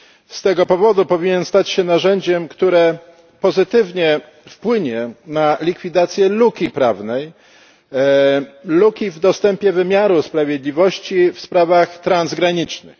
Z tego powodu powinien stać się narzędziem, które pozytywnie wpłynie na likwidację luki prawnej luki w dostępie wymiaru sprawiedliwości w sprawach transgranicznych.